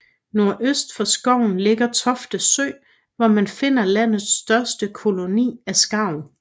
Nordøst for skoven ligger Tofte Sø hvor man finder landets største koloni af skarv